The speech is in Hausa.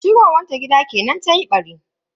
Shigowan ta gida kenan tayi ɓari.